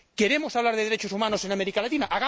¿Queremos hablar de derechos humanos en América Latina?